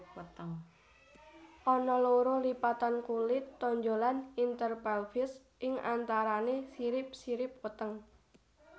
Ana loro lipatan kulit tonjolan interpelvis ing antarané sirip sirip weteng